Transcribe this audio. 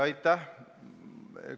Aitäh!